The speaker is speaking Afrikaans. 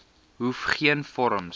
hoef geen vorms